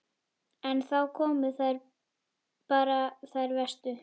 En þá komu þær bara, þær verstu.